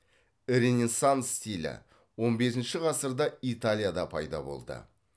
ренессанс стилі он бесінші ғасырда италияда пайда болды